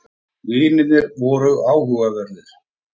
Vinirnir voru áhugaverðir.